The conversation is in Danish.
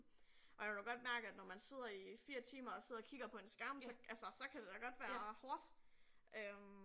Og jeg kunne da godt mærke at når man sidder i 4 timer og sidder og kigger på en skærm så altså så kan det da godt være hårdt øh